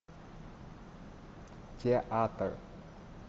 театр